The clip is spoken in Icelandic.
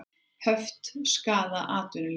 Höft skaða atvinnulíf